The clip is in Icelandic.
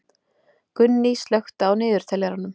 Gunný, slökktu á niðurteljaranum.